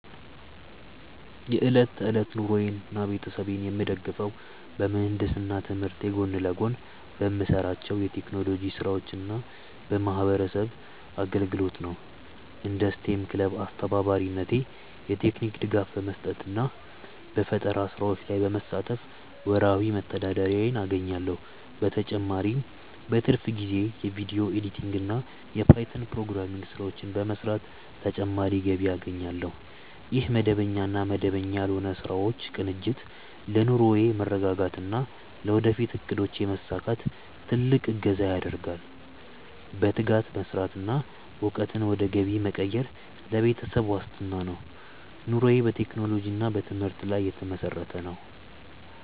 የዕለት ተዕለት ኑሮዬንና ቤተሰቤን የምደግፈው በምህንድስና ትምህርቴ ጎን ለጎን በምሰራቸው የቴክኖሎጂ ስራዎችና በማህበረሰብ አገልግሎት ነው። እንደ ስቴም ክለብ አስተባባሪነቴ የቴክኒክ ድጋፍ በመስጠትና በፈጠራ ስራዎች ላይ በመሳተፍ ወርሃዊ መተዳደሪያዬን አገኛለሁ። በተጨማሪም በትርፍ ጊዜዬ የቪዲዮ ኤዲቲንግና የፓይተን ፕሮግራሚንግ ስራዎችን በመስራት ተጨማሪ ገቢ አገኛለሁ። ይህ መደበኛና መደበኛ ያልሆኑ ስራዎች ቅንጅት ለኑሮዬ መረጋጋትና ለወደፊት እቅዶቼ መሳካት ትልቅ እገዛ ያደርጋል። በትጋት መስራትና እውቀትን ወደ ገቢ መቀየር ለቤተሰብ ዋስትና ነው። ኑሮዬ በቴክኖሎጂና በትምህርት ላይ የተመሰረተ ነው።